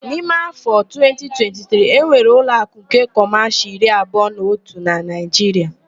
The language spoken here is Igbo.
N'ime áfọ a 2023, enwere ụloakụ nke Kọmashịal iri abụọ na otụ na Naịjiria.